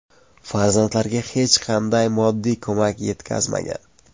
Farzandlariga hech qanday moddiy ko‘mak yetkazmagan.